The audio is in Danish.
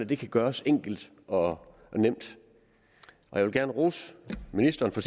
det kan gøres enkelt og nemt jeg vil gerne rose ministeren for